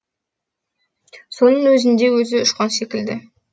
соның өзінде өзі ұшқан секілді